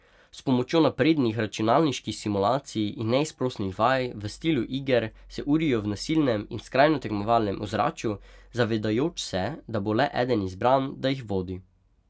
S pomočjo naprednih računalniških simulacij in neizprosnih vaj v stilu iger se urijo v nasilnem in skrajno tekmovalnem ozračju, zavedajoč se, da bo le eden izbran, da jih vodi.